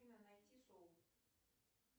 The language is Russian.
афина найти шоу